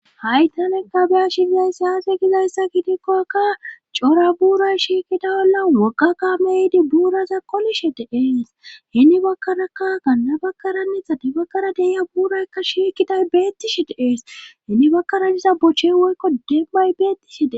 Haytanekka biyas aze shigeay siyaafe gizayssa gidikkoakka cora buuray shiikida ola mokaka meydi buuraza qolishe te ees hinni bakaraka ganna bakkaranitade bakara deya buuraykka shiikiday beettishi de'ees hinni bakkara niza bochche woykko demmay beettishide